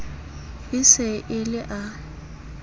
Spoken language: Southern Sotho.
e se e le a